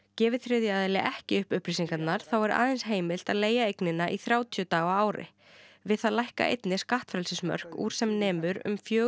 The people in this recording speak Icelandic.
gefi þriðji aðili ekki upp upplýsingarnar þá er aðeins heimilt að leigja eignina í þrjátíu daga á ári við það lækka einnig skattfrelsismörk úr sem nemur um fjögur